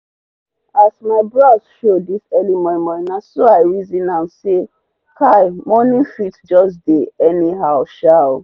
as my bros show dis early momo naso i reson am say kai mornings fit jus dey anyhow shaaa